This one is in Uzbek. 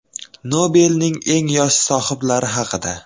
Nobelning eng yosh sohiblari haqida.